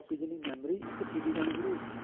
ਜਿੰਨੀ memory ਇੱਕ CD ਆਂਨੀ ਸ਼ੁਰੂ ਹੋ ਗਈ